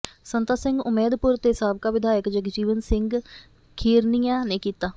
ਸੰਤਾ ਸਿੰਘ ਉਮੈਦਪੁਰ ਤੇ ਸਾਬਕਾ ਵਿਧਾਇਕ ਜਗਜੀਵਨ ਸਿੰਘ ਖੀਰਨੀਆ ਨੇ ਕੀਤਾ